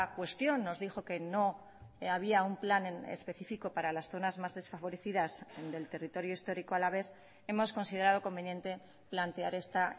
cuestión nos dijo que no había un plan específico para las zonas más desfavorecidas del territorio histórico alavés hemos considerado conveniente plantear esta